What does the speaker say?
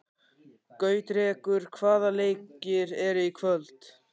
Gautrekur, hvaða leikir eru í kvöld?